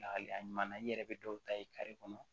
Lahalaya ɲuman na i yɛrɛ be dɔw ta ye kare kɔnɔ